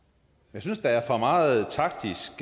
jeg synes der er for meget taktisk